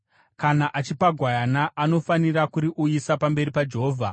Kana achipa gwayana, anofanira kuriuyisa pamberi paJehovha.